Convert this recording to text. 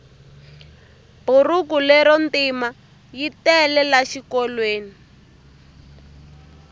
burhuku lero ntima yitele la xikolweni